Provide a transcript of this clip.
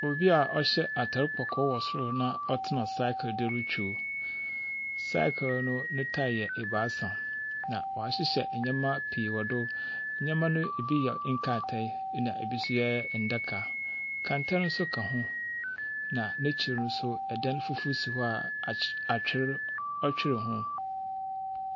Obi a ɔhyɛ atar kɔkɔɔ wɔ sor na ɔtena sakre do retwam. Sakre no ne tyre yɛ ebaasa, na wahyehyɛ nneɛma pii wɔ do. Nneɛma no bi yɛ nkratae na ebi nso yɛ ndaka. Kɛntɛn nso ka ho, na n'ekyir no nso, dan fufuo si hɔ a ahy atwer twere ho.